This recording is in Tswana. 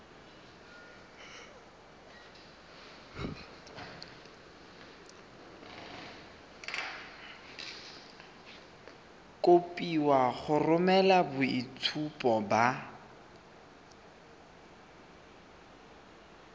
kopiwa go romela boitshupo ba